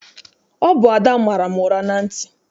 Ọ bụ Ada mara m ụra na ntị.